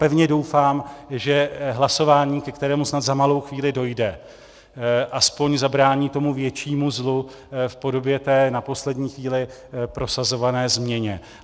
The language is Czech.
Pevně doufám, že hlasování, ke kterému snad za malou chvíli dojde, aspoň zabrání tomu většímu zlu v podobě té na poslední chvíli prosazované změny.